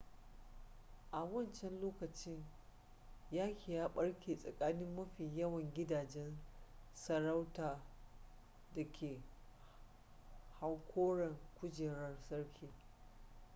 a wancan lokaci yaki ya barke tsakanin mafi yawan gidajen sarauta da ke hankoron kujerar sarki